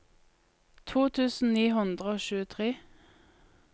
to tusen ni hundre og tjuetre